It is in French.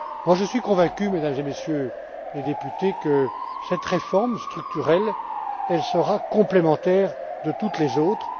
Je suis convaincu, Mesdames et Messieurs les députés, que cette réforme structurelle sera complémentaire de toutes les autres.